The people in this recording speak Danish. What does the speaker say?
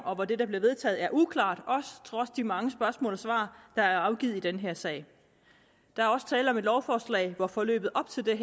og det der bliver vedtaget er uklart trods de mange spørgsmål og svar der er afgivet i den her sag der er også tale om et lovforslag hvor forløbet op til det